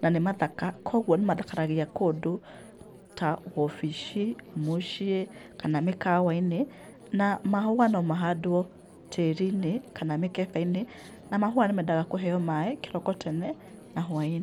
na nĩ mathaka, koguo nĩmathakaragia kũndũ ta wobici, mũciĩ kana mĩkawainĩ. Na mahũa no mahandwo tĩrinĩ kana mĩkebeinĩ na mahũa nĩmendaga kũheo maaĩ kĩroko tene na hwainĩ.